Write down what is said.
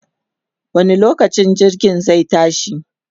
wani lokaci jirgin zai tashi?